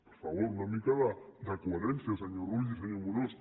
per favor una mica de coherència senyor rull i senyor amorós